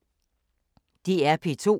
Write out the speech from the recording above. DR P2